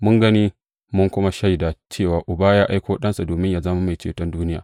Mun gani, mun kuma shaida cewa Uba ya aiko Ɗansa domin yă zama Mai Ceton duniya.